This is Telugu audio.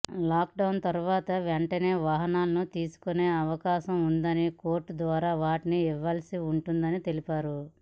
లాక్డౌన్ తర్వాత వెంటనే వాహనాలను తీసుకునే అవకాశం ఉండదని కోర్టు ద్వారా వాటిని ఇవ్వాల్సి ఉంటుందని తెలిపారు